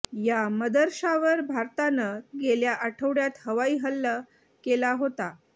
या मदरशावर भारतानं गेल्या आठवड्यात हवाई हल्ल केला होता